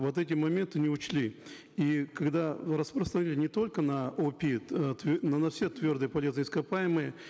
вот эти моменты не учли и когда распространили не только на опит э но на все твердые полезные ископаемые